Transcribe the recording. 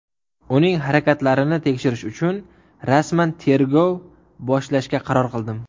Uning harakatlarini tekshirish uchun rasman tergov boshlashga qaror qildim.